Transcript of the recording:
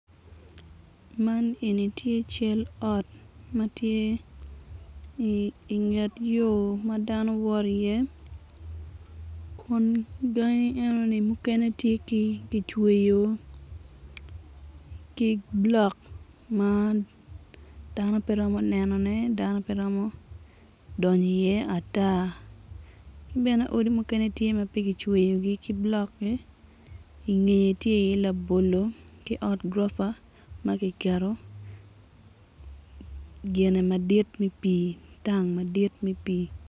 Man eni tye cal ot ma tye inget yo ma dano woto iye kun gangi enoni mukene tye kicweyo ki blok ma dano pe romo nenone dano pe romo donyo iye ata ki bene odi mukene tye pe kicweyogi ki blok-ki ingeye tye iye labolo ki ot gurofa ma kiketo gine madit me pii tang madit me pii.